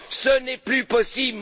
Ce n'est plus possible.